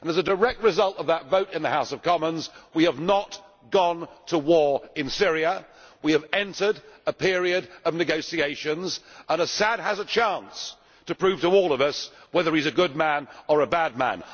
As a direct result of that vote in the House of Commons, we have not gone to war in Syria we have entered a period of negotiations and Assad has a chance to prove to all of us whether he is a good man or a bad man.